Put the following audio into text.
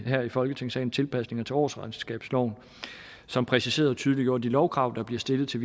i folketingssalen tilpasninger til årsregnskabsloven som præciserede og tydeliggjorde de lovkrav der bliver stillet til